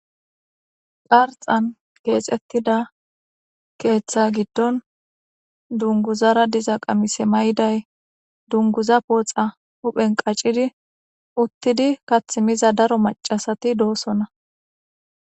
Qarxan keexettida keeththa giddon dunguzara diza qamise may7day dunguza pooxa huphen qaccidi uttidi kath miza daro macasati doosonna.